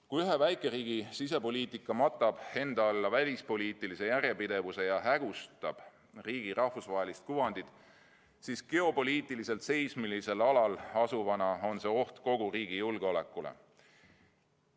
Kui ühe väikeriigi sisepoliitika matab enda alla välispoliitilise järjepidevuse ja hägustab riigi rahvusvahelist kuvandit, siis geopoliitiliselt seismilisel alal asuva riigi puhul on see oht kogu riigi julgeolekule.